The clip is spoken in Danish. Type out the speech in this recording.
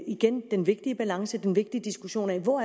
igen den vigtige balance den vigtige diskussion af hvor